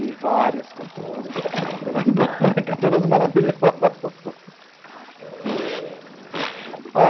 E várias cantoras passaram pela banca, todas maravilhosas.